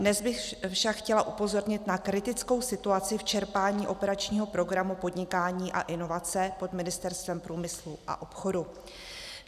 Dnes bych však chtěla upozornit na kritickou situaci v čerpání operačního programu Podnikání a inovace pod Ministerstvem průmyslu a obchodu.